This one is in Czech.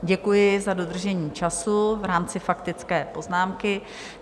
Děkuji za dodržení času v rámci faktické poznámky.